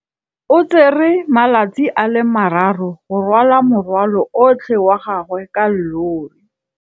O tsere malatsi a le marraro go rwala morwalo otlhe wa gagwe ka llori.